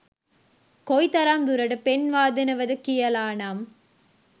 කොයි තරම් දුරට පෙන්වා දෙනවද කියලා නම්.